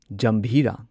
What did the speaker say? ꯖꯥꯝꯚꯤꯔꯥ